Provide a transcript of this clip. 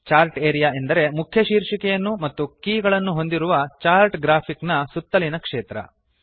chart area ಎಂದರೆ ಮುಖ್ಯ ಶೀರ್ಷಿಕೆಯನ್ನು ಮತ್ತು ಕೀ ಗಳನ್ನು ಹೊಂದಿರುವ ಚಾರ್ಟ್ ಗ್ರಾಫಿಕ್ ನ ಸುತ್ತಲಿನ ಕ್ಷೇತ್ರ